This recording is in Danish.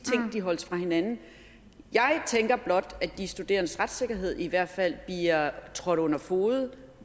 ting holdes væk fra hinanden jeg tænker blot at de studerendes retssikkerhed i hvert fald bliver trådt under fode